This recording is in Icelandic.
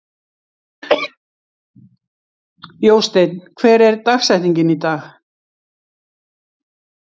Jósteinn, hver er dagsetningin í dag?